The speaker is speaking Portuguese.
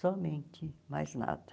Somente, mais nada.